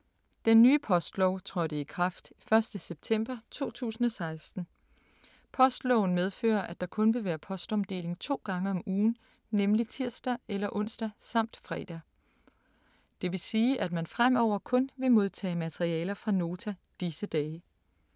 Den nye postlov trådte i kraft 1. september 2016. Postloven medfører, at der kun vil være postomdeling to gange om ugen, nemlig tirsdag eller onsdag samt fredag. Det vil sige, at man fremover kun vil modtage materialer fra Nota disse dage.